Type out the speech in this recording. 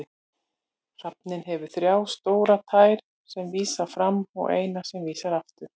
Hrafninn hefur þrjá stórar tær sem vísa fram og eina sem vísar aftur.